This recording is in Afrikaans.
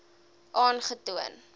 aangetoon